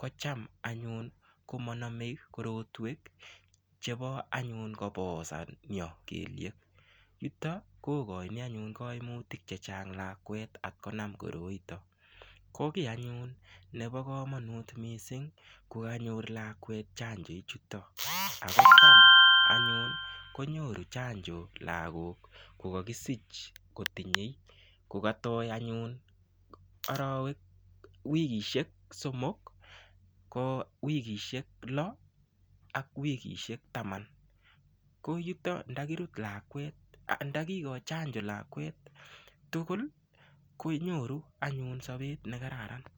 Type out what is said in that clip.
kotam anyun komonome anyun korotwek chebo kobosan kelyek ,yuto kogoin kaimutik chechang' lakwet ngonam koroito. Kobo kamanut missing kokanyor lakwet chanjoiniton ako tam anyun konyoru chanjo kokait wikisiek somok ,wikisiek loo ak wikisiek taman ko yuto ndo kikoin chanjo lakwet tugul konyoru anyun sobet nekararan.